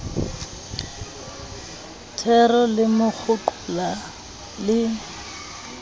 thero le mo kgoqola le